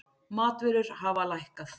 Matvörur hafa lækkað